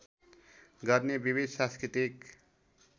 गर्ने विविध सांस्कृतिक